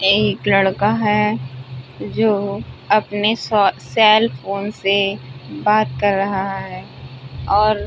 एक लड़का है जो अपने स सेलफोन से बात कर रहा है और --